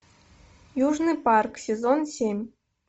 южный парк сезон семь